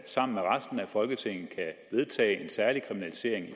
sammen med resten af folketinget kan vedtage en særlig kriminalisering i